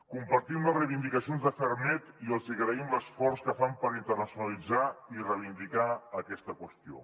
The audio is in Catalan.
compartim les reivindicacions de ferrmed i els agraïm l’esforç que fan per internacionalitzar i reivindicar aquesta qüestió